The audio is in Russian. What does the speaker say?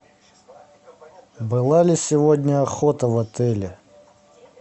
была ли сегодня охота в отеле